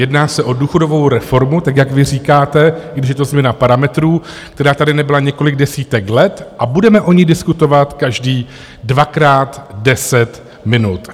Jedná se o důchodovou reformu, tak jak vy říkáte, i když je to změna parametrů, která tady nebyla několik desítek let a budeme o ní diskutovat každý dvakrát 10 minut.